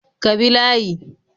Ka bi layi